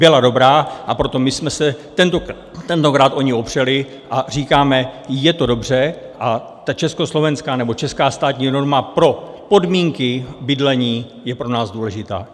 Byla dobrá, a proto my jsme se tentokrát o ni opřeli a říkáme, je to dobře a ta československá nebo česká státní norma pro podmínky bydlení je pro nás důležitá.